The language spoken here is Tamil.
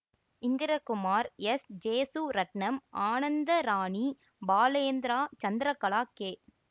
Indrakumar S Jesuratnam Anandarani Balendra Chandrakala K